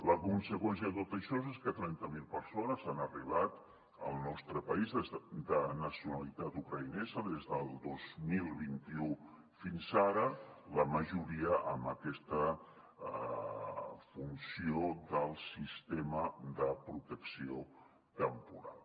la conseqüència de tot això és que trenta mil persones de nacionalitat ucraïnesa han arribat al nostre país des del dos mil vint u fins ara la majoria amb aquesta funció del sistema de protecció temporal